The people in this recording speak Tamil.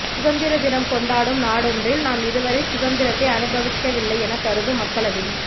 சுதந்திர தினம் கொண்டாடும் நாடொன்றில் நாம் இதுவரை சுதந்திரத்தை அனுபவிக்கவில்லை எனக் கருதும் மக்கள் அதிகம்